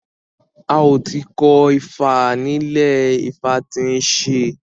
A ò ti ko ifá nílẹ̀ ifá tí ń ṣe